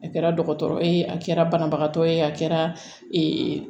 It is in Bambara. A kɛra dɔgɔtɔrɔ ye a kɛra banabagatɔ ye a kɛra